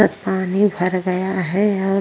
पानी भर गया है और --